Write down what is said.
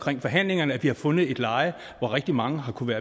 i forhandlingerne at vi har fundet et leje hvor rigtig mange har kunnet